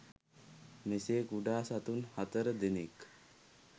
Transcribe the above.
මෙසේ කුඩා සතුන් හතර දෙනෙක්